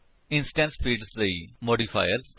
instance fields ਲਈ modifiers